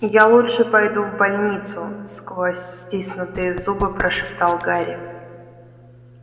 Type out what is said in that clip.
я лучше пойду в больницу сквозь стиснутые зубы прошептал гарри